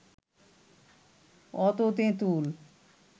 অত তেঁতুল